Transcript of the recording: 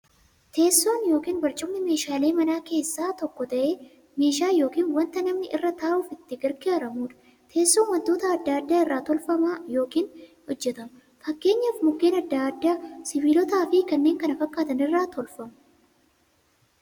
Teessoon yookiin barcumni meeshaalee manaa keessaa tokko ta'ee, meeshaa yookiin wanta namni irra ta'uuf itti gargaaramuudha. Teessoon wantoota adda addaa irraa tolfama yookiin hojjatama. Fakkeenyaf Mukkeen adda addaa, sibilootaafi kanneen kana fakkaatan irraa tolfamu.